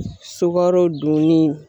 Sukaro dunni